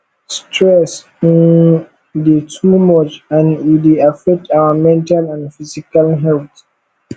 stress um dey too much and e dey affect our mental and physical health